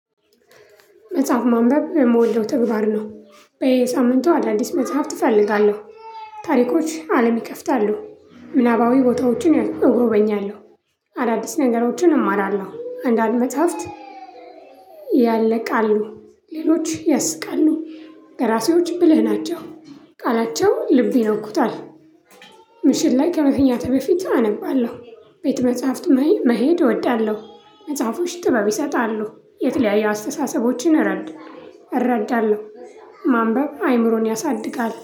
መጽሐፍ ማንበብ የምወደው ተግባር ነው በየሳምንቱ አዳዲስ መጽሐፍ እፈልጋለው። ታሪኮች አለም ይከፍታሉ ምናባዊ ቦታዎችን እጎበኛለሁ። አዳዲስ ነገሮችን እማራለሁ እንዳሉ መጽሓፍት። ያለ ቃል ነው። ሌሎች ያስቃሉ። ደራሲዎች ብልህ ናቸው። ቃላቸው ልብ ይነኩታል። ምሽት ላይ ከመተኛቴ በፊት አነባለሁ። ቤተ-መጽሐፍት መሄድ እወዳለሁ። መጽሐፎች ጥበብ ይሰጣሉ። የተለያዩ አስተሳሰቦችን እረድ እረዳለሁ። ማንበብ አይምሮን ያሳድጋል